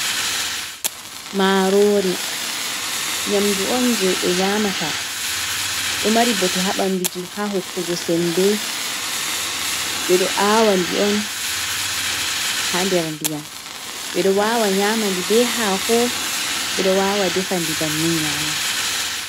Marori nyamdu on je ɓe nyamata ɗo mari bote ha banduji ha hokkugo sembbe ɓe ɗo awandi on ha nder ndiyam, ɓedo wawa nyamandi be ha ko ɓe ɗo wawa defandi bannin nyama.